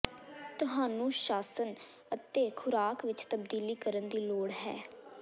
ਤੁਹਾਨੂੰ ਸ਼ਾਸਨ ਅਤੇ ਖੁਰਾਕ ਵਿੱਚ ਤਬਦੀਲੀ ਕਰਨ ਦੀ ਲੋੜ ਹੈ